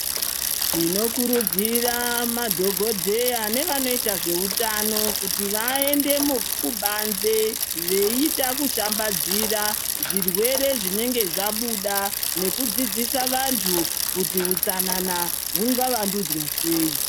Tinokurudzira madhogodheya, nevanoita zveutano kuti vaende mu kubanze ,veiita kushambadzira zvirwere zvinenge zvabuda, nekudzidzisa vantu kuti hutsanana ,hungava ndudzwa sei.